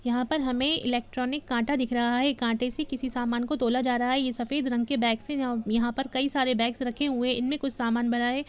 यहाँ पर हमे इलेक्ट्रॉनिक कांटा दिख रहा है कांटे से किसी समान को तोला जा रहा है ये सफेद रंग के बेगस है यहाँ पर कई सारे बेगस रखे हुए इन मे कुछ समान भरा है। ।